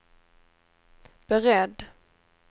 beredd